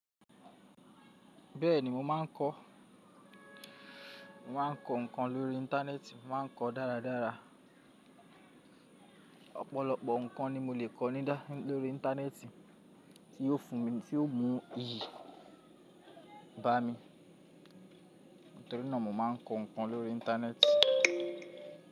Bẹ́ẹ̀ni mo má a ń kọ́. Mo má a ń kọ nǹkan lórí Íńtánẹ́ẹ̀tì, mo má a ń kọ dáradára. Nǹkan ni mo lè kọ ní dá lórí Íńtánẹ́ẹ̀tì tí yóò fún mi, tí yóò mú iyì bá mi. Nítorí náà mo má a ń kọ nǹkan lórí Íńtánẹ́ẹ̀tì.